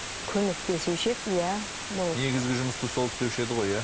көмектесуші еді иә бұл негізгі жұмысты сол істеуші еді ғой иә